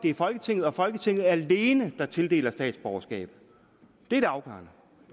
det er folketinget og folketinget alene der tildeler statsborgerskab er det afgørende